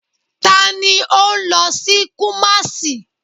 Tani o nlo si Kumasi?